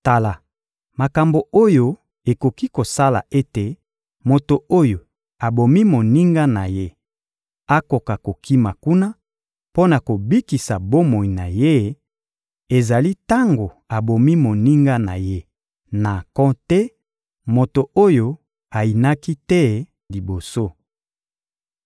Tala makambo oyo ekoki kosala ete moto oyo abomi moninga na ye akoka kokima kuna mpo na kobikisa bomoi na ye: ezali tango abomi moninga na ye na nko te, moto oyo ayinaki te liboso.